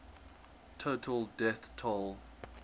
total death toll